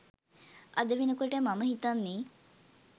අද වෙනකොට මම හිතන්නේ